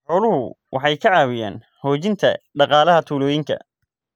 Xooluhu waxay ka caawiyaan xoojinta dhaqaalaha tuulooyinka.